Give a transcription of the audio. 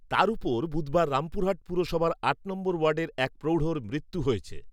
তার উপর বুধবার রামপুরহাট পুরসভার আট নম্বর ওয়ার্ডে এক প্রৌঢ়র মৃত্যু হয়েছে